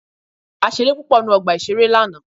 A ṣeré púpọ̀ ní ọgbà ìṣeré lánàá.